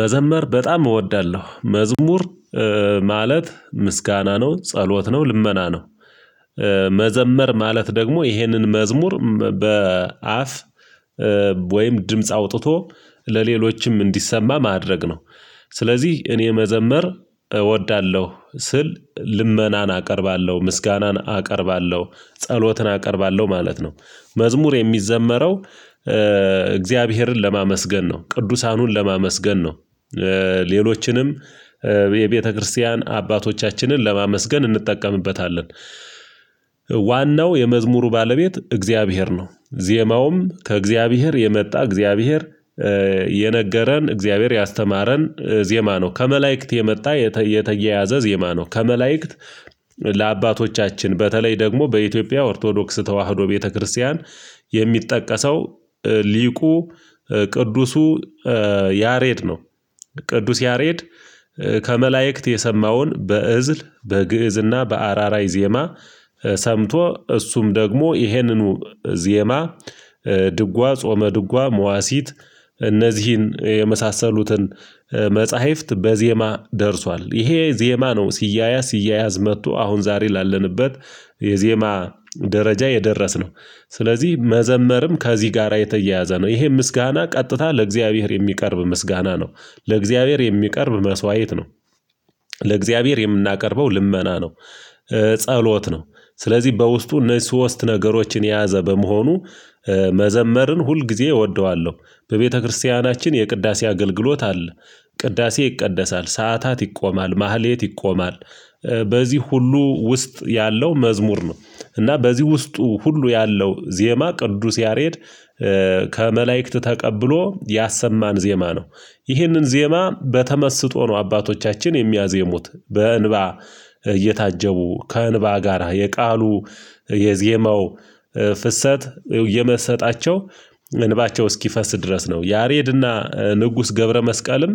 መዘመር በጣም እወዳለሁ መዝሙር ማለት፨ምስጋና ነው ጸሎት ነው ልመና ነው። መዘመር ማለት ደግሞ ይሄንን መዝሙር በአፍ ወይም ድምጽ አውጥቶ ለሌሎችም እንዲሰማ ማድረግ ነው። ስለዚህ እኔ መዘመር እወዳለሁ ስል ልመናን አቀርባለሁ ምስጋናን አቀርባለሁ ጸሎትን አቀርባለሁ ማለት ነው። መዝሙር የሚዘመረው እግዚአብሔርን ለማመስገን ነው ቅዱሳኑን ለማመስገን ነው ሌሎችንም የቤተክርስቲያን አባቶቻችንን ለማመስገን እንጠቀምበታለን። ዋናው የመዝሙሩ ባለቤት እግዚአብሔር ነው ዜማውም ከእግዚአብሔር የመጣ እግዚአብሔር የነገረን እግዚአብሔር ያስተማረን ዜማ ነው ከመላእክት የመጣ የተየያዘ ዜማ ነው ከመላእክት። ለአባቶቻችን በተለይ ደግሞ በኢትዮጵያ ኦርቶዶክስ ተዋህዶ ቤተክርስቲያን የሚጠቀሰው ሊቁ ቅዱሱ ያሬድ ነው። ቅዱስ ያሬድ ከመላእክት የሰማውን በእዝል በግእዝና በአራራይ ዜማ ሰምቶ እሱም ደግሞ ይሄንኑ ዜማ ድጓ ጾመ ድጓ መዋሲት እነዚህን የመሳሰሉትን መጽሐፍት በዜማ ደርሷል ይሄ ዜማ ነው። ሲያያዝ ሲያያዝ መጥቶ አሁን ዛሬ ላለንበት የዜማ ደረጃ የደረስነው። ስለዚህ መዘመርም ከዚህ ጋራ የተያያዘ ነው ይሄ ምስጋና ቀጥታ ለእግዚአብሔር የሚቀርብ ምስጋና ነው። ለእግዚአብሔር የሚቀርብ መስዋዕት ነው። ለእግዚአብሔር የምናቀርበው ልመና ነው። ጸሎት ነው ስለዚህ በውስጡ እነዚህ ሶስት ነገሮችን የያዘ በመሆኑ መዘመርን ሁል ጊዜ እወደዋለሁ። በቤተክርስቲያናችን የቅዳሴ አገልግሎት አለ ቅዳሴ ይቀደሳል ሰዓታት ይቆማል መህሌት ይቆማል በዚህ ሁሉ ውስጥ ያለው መዝሙር ነው። እና በዚህ ውስጡ ሁሉ ያለው ዜማ ቅዱስ ያሬድ ከመላእክት ተቀብሎ ያሰማን ዜማ ነው። ይህንን ዜማ በተመስጦ ነው አባቶቻችን የሚያዜሙት በእንባ እየታጀቡ ከእንባ ጋራ የቃሉ የዜማው ፍሰት የመሰጣቸው እንባቸው እስኪፈስ ድረስ ነው። ያሬድና ንጉስ ገብረ መስቀልም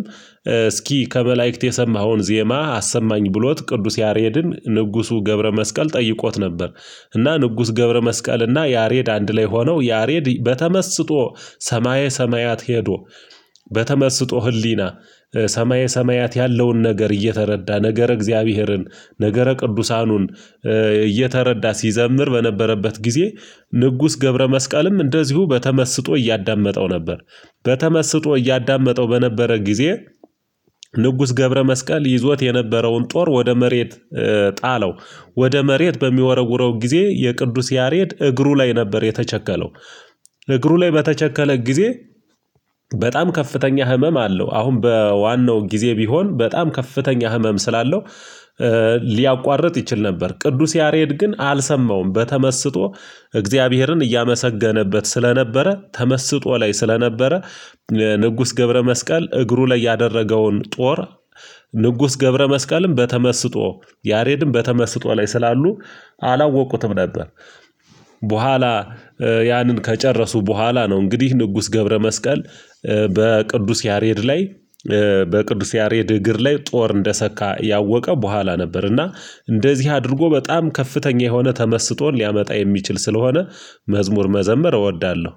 እስኪ ከመላእክት የሰማኸውን ዜማ አሰማኝ ብሎት ቅዱስ ያሬድን ንጉሱ ገብረመስቀል ጠይቆት ነበር። እና ንጉስ ገብረመስቀል እና ያሬድ አንድ ላይ ሆነው ያሬድ በተመስጦ ሰማየ ሰማያት ሄዶ በተመስጦ ህሊና ሰማየ ሰማያት ያለውን ነገር እየተረዳ ነገረ እግዚአብሔርን ነገረ ቅዱሳኑን እየተረዳ ሲዘምር በነበረበት ጊዜ ንጉስ ገብረ መስቃልም እንደዚሁ በተመስጦ እያዳመጠው ነበር። በተመስጦ እያዳመጠው በነበረ ጊዜ ንጉስ ገብረ መስቀል ይዞት የነበረውን ጦር ወደ መሬት ጣለው። ወደ መሬት በሚወረውረው ጊዜ የቅዱስ ያሬድ እግሩ ላይ ነበር የተቸከለው። እግሩ ላይ በተቸከለ ጊዜ በጣም ከፍተኛ ህመም አለው አሁን በዋናው ጊዜ ቢሆን በጣም ከፍተኛ ህመም ስላለው ሊያቋርጥ ይችል ነበር። ቅዱስ ያሬድ ግን አልሰማውም በተመስጦ እግዚአብሔርን እያመሰገነበት ስለነበረ ተመስጦ ላይ ስለነበረ ንጉስ ገብረመስቀል እግሩ ላይ ያደረገውን ጦር ንጉስ ገብረመስቀልም በተመስጦ ያሬድም በተመስጦ ላይ ስላሉ አላወቅኩትም ነበር። በኋላ ያንን ከጨረሱ በኋላ ነው እንግዲህ ንጉስ ገብረመስቀል በቅዱስ ያሬድ ላይ በቅዱስ ያሬድ እግር ላይ ጦር እንደሰካ ያወቀ በኋላ ነበር። እና እንደዚህ አድርጎ በጣም ከፍተኛ የሆነ ተመስጦ ሊያመጣ የሚችል ስለሆነ መዝሙር መዘመር እወዳለሁ